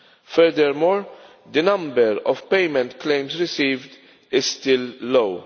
Furthermore, the number of payment claims received is still low.